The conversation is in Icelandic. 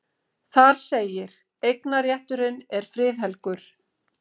Þar segir: Eignarrétturinn er friðhelgur.